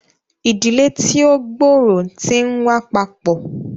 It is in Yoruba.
Ìdílé tí o gb'ọrọ tí n wà papọ